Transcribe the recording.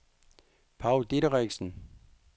Paw Dideriksen